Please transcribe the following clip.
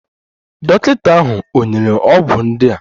Dọkịta ahụ ò nyere ọgwụ ndị a?